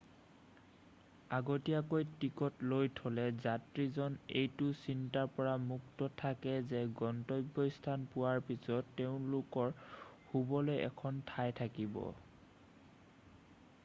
আগতীয়াকৈ টিকট লৈ থ'লে যাত্ৰীজন এইটো চিন্তাৰ পৰা মুক্ত থাকে যে গন্তব্যস্থান পোৱাৰ পিছত তেওঁলোকৰ শুবলৈ এখন ঠাই থাকিব